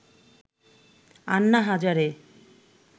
Anna Hazare